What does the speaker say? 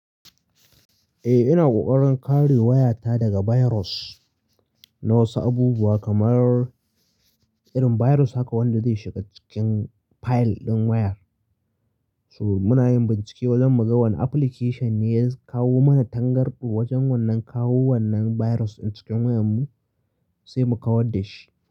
Eh, ina ƙoƙarin kare wayata daga virus, na wasu abubuwa kamar irin virus haka wanda zai shiga cikin file ɗin wayar. So muna yin bincike, zan muga wane application ne ya kawo mana tangarɗo wajen wannan kawo wannan virus ɗin cikin wayar mu sai mu kawar da shi.